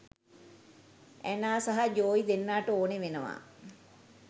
Anna සහ Joey දෙන්නට ඕනේ වෙනවා